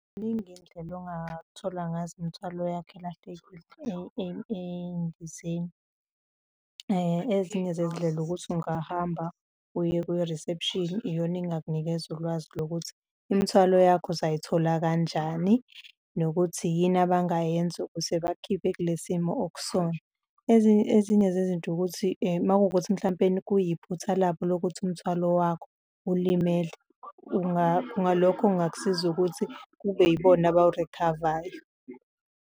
Ziningi izindlela ongathola ngazo imithwalo yakha elahlekile ey'ndizeni. Ezinye zezindlela ukuthi ungahamba uye kwi-reception-i, iyona engakunikeza ulwazi lokuthi imithwalo yakho uzayithola kanjani nokuthi yini abangayenza ukuze bakukhiphe kule simo okusona. Ezinye zezinto ukuthi uma kuwukuthi mhlampeni kuyiphutha labo lokuthi umthwalo wakho ulimele, ngalokho kungakusiza ukuthi kube yibona abawurikhavayo.